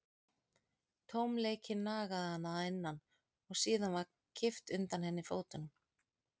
Tómleikinn nagaði hana að innan og síðan var kippt undan henni fótunum.